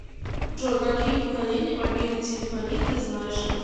джой какие поколения мобильной телефонии ты знаешь